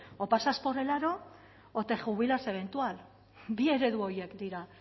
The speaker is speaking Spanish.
o pasas por el aro o te jubilas eventual bi eredu horiek dira